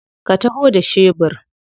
Ka taho da shebur?